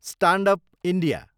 stand up India